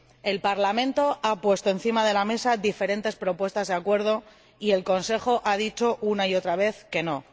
El Parlamento ha puesto encima de la mesa diferentes propuestas de acuerdo y el Consejo ha dicho una y otra vez que no.